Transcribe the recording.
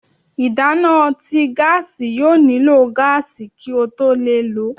ìdana tí gáási yóò niló gaasi kí o tó le ló